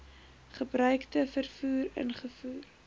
gebruikte voertuie ingevoer